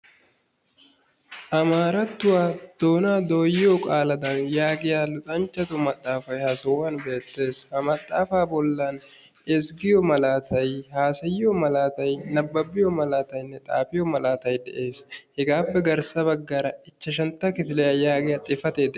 Amaarattuwa doonaa dooyiyoo qaaladan yaagiya luxanchchatu maxaafay ha sohuwan beettees. Ha maxaafa bollan ezggiyo malaatay, haasayiyo malaatay, nabbabbiyo malaataynne xaafiyo malaatay dees. Hegaappe garssa baggaara ichchashshantta kifiliya yaagiya xifatee dees.